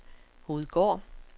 Hovedgård